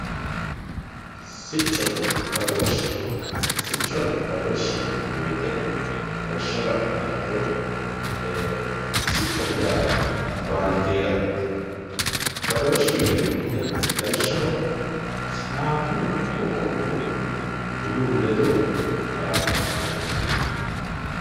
Sichona badooshe sichona badooshe yinemmo woyite lawishaho lanumoha ikiro sichoho yaa bandeeraho badoosheho yineemo woyite lawishaho sidaamu qoqowihu woluyihu ledo ditaalano taalo di ikano